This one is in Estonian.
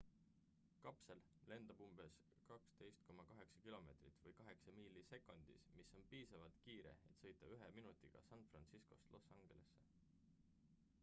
kapsel lendab umbes 12,8 km või 8 miili sekundis mis on piisavalt kiire et sõita ühe minutiga san franciscost los angelesse